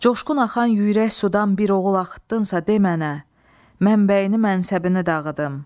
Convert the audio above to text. Coşqun axan yüyrək sudan bir oğul axıtdınsa de mənə, mənbəyini mənsəbini dağıdım.